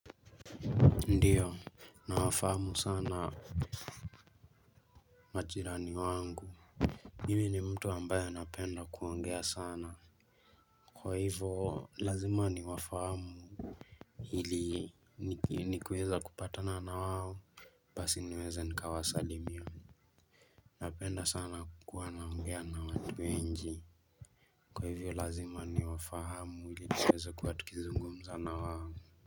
Ndio, nawafahamu sana majirani wangu. Mimi ni mtu ambaye anapenda kuongea sana kwa hivyo lazima niwafahamu Hili nikiweza kupatana na wao Basi niweze nikawasalimia. Napenda sana kuwa naogea na watu wengi kwa hivyo lazima niwafahamu ili kuweza kuwa tukizungumza na wao.